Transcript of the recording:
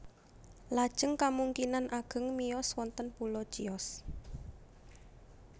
Lajeng kamungkinan ageng miyos wonten pulo Chios